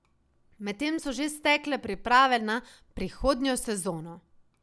Medtem so že stekle priprave na prihodnjo sezono.